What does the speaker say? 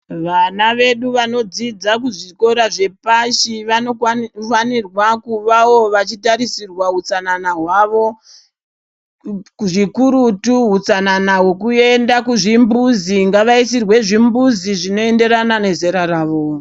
Vana vedu vanodzidza kuzvikora zvepashi vanofanirwa kuvavo vachitarisirwa utsanana hwavo. Zvikurutu utsanana hwekuenda kuzvimbuzi, ngavaisirwe zvimbuzi zvinoenderana nezera ravo.